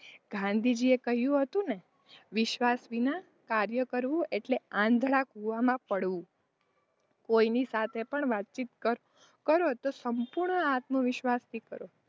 ગાંધીજી એ કહ્યું હતું ને કે વિશ્વાસ વિના કાર્ય કરવું એટલે આંધડા કૂવામાં પડવું કોઇની સાથે પણ વાતચીત કરો તો સંપૂર્ણ આત્મવિશ્વાસથી કરો.